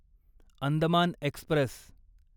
Andaman Express